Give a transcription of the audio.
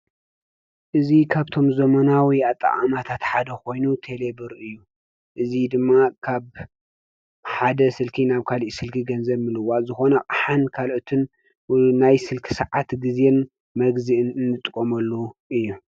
እዚ ካብቶም ዘመናዊ ኣጠቃቅማታት ሓደ ኮይኑ ቴሌብር ይበሃል:: እዚ ድማ ካብ ሓደ ስልኪ ናብ ካሊእ ስልኪ ገንዘብ ምልዋጥ ዝኮነ አቅሓን ካልኦትን ወይ ናይ ስልኪ ሰዓት ግዜን መግዝእን እንጥቀመሉ እዩ።